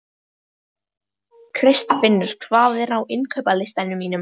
Kristfinnur, hvað er á innkaupalistanum mínum?